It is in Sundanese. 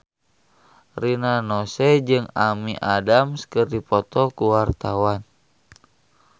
Rina Nose jeung Amy Adams keur dipoto ku wartawan